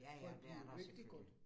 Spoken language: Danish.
Ja ja, det er der jo selvfølgelig